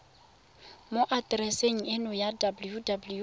mo atereseng eno ya www